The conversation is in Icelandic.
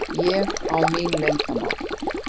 Ég á mín leyndarmál.